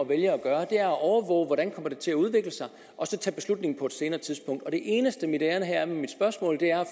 vælge at gøre at overvåge hvordan det kommer til at udvikle sig og så tage beslutning på et senere tidspunkt og det eneste mit ærinde er med mit spørgsmål her